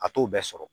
A t'o bɛɛ sɔrɔ